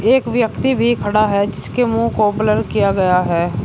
एक व्यक्ति भी खड़ा है जिसके मुंह को ब्लर किया गया है।